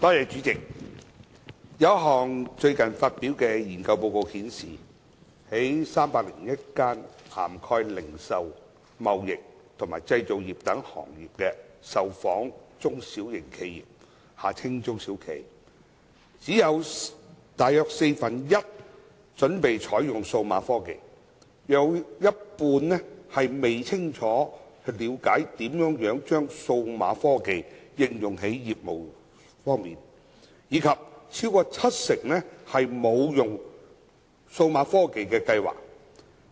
主席，有一項最近發表的研究報告顯示，在301間涵蓋零售、貿易及製造業等行業的受訪中小型企業中，只有約四分一準備採用數碼科技，約一半未清楚了解如何把數碼科技應用在業務上，以及超過七成沒有應用數碼科技的計劃。